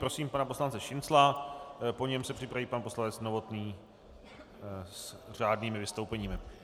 Prosím pana poslance Šincla, po něm se připraví pan poslanec Novotný, s řádnými vystoupeními.